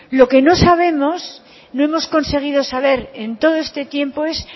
lo que no sabemos no hemos conseguido saber en todo este tiempo es